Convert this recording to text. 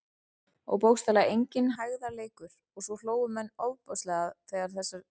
Og bókstaflega enginn hægðarleikur- og svo hlógu menn ofboðslega að þessari líka orðheppni sinni.